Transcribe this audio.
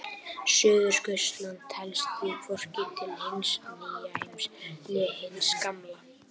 Suðurskautslandið telst því hvorki til hins nýja heims né hins gamla.